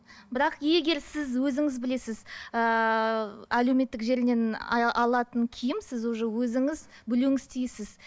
бірақ егер сіз өзіңіз білесіз ііі әлеуметтік желіден алатын киім сіз уже өзіңіз білуіңіз тиіссіз